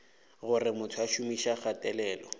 gore motho o šomiša kgatelelo